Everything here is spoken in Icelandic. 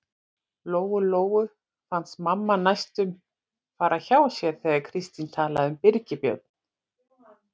Lóu-Lóu fannst mamma næstum fara hjá sér þegar Kristín talaði um Birgi Björn.